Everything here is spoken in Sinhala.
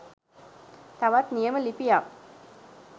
තවත් නියම ලිපියක්